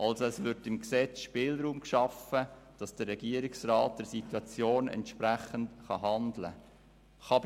Also wird im Gesetz Spielraum geschaffen, sodass der Regierungsrat der Situation entsprechend handeln kann.